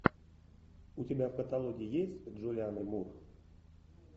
у тебя в каталоге есть джулианна мур